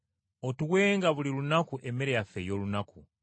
Otuwenga buli lunaku emmere yaffe ey’olunaku.